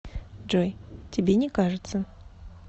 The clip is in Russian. джой тебе не кажется